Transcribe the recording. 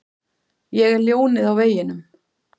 Ég er ljónið á veginum.